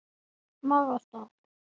Maga. stað?